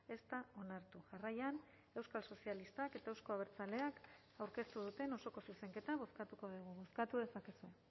ez da onartu jarraian euskal sozialistak eta euzko abertzaleak aurkeztu duten osoko zuzenketa bozkatuko dugu bozkatu dezakezue